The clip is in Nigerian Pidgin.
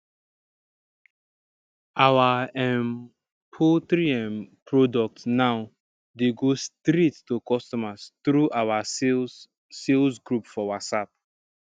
our um poultry um product now dey go straight to customers through our sales sales group for whatsapp